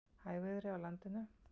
Hægviðri á landinu